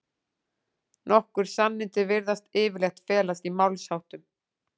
Nokkur sannindi virðast yfirleitt felast í málsháttum.